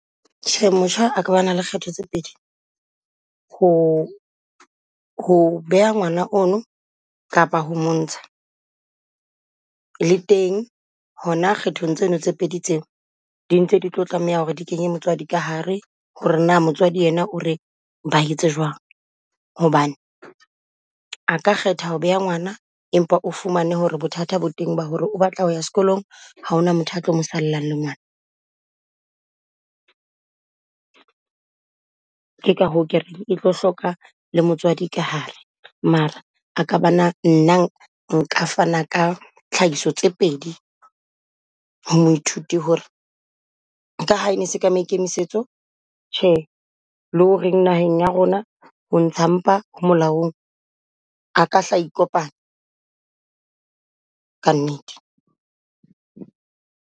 Tjhe, motjha a ka ba na le kgetho tse pedi ho ho beha ngwana ono kapa ho montsha. Le teng hona kgethong tseno tse pedi tseo, di ntse di tlo tlameha ho re di kenye motswadi ka hare ho re na motswadi yena o re ba etse jwang. Hobane a ka kgetha ho beha ngwana empa o fumane ho re bothata bo teng ba ho re o batla ho ya sekolong ha hona motho a tlo mo sallang le ngwana. Ke ka hoo ke reng e tlo hloka le motswadi ka hare, mara a ka ba na nna nka fana ka tlhahiso tse pedi ho moithuti ho re, ka ha e ne se ka maikemisetso thje le ho re naheng ya rona ho ntsha mpa ho molaong a ka hla a ikopanya ka nnete.